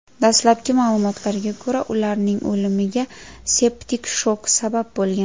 Dastlabki ma’lumotlarga ko‘ra, ularning o‘limiga septik shok sabab bo‘lgan.